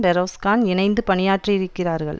பெரோஸ்கான் இணைந்து பணியாற்றியிருக்கிறார்கள்